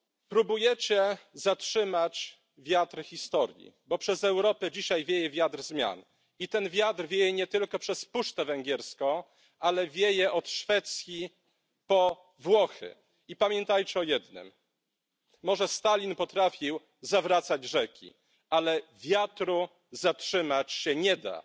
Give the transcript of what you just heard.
Próbujecie zatrzymać wiatr historii, bo przez Europę dzisiaj wieje wiatr zmian i ten wiatr wieje nie tylko przez puszczę węgierską, ale wieje od Szwecji po Włochy, i pamiętajcie o jednym może Stalin potrafił zawracać rzeki, ale wiatru zatrzymać się nie da.